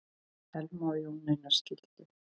Elma og Jón Einar skildu.